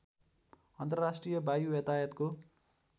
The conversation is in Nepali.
अन्तर्राष्ट्रिय वायु यातायातको